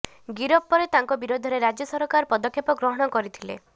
ଗିରଫ ପରେ ତାଙ୍କ ବିରୋଧରେ ରାଜ୍ୟ ସରକାର ପଦକ୍ଷେପ ଗ୍ରହଣ କରିଥିଲେ